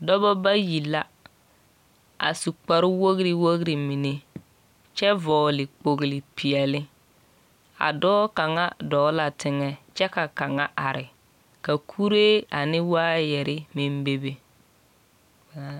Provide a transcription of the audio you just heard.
Dͻbͻ bayi la, a su kpare wogiri wogiri mine kyԑ vͻgele kpogili peԑle. A dͻͻ kaŋa dͻͻ la teŋԑ kyԑ ka kaŋa are. ka kuree ane waayԑre meŋ bebe.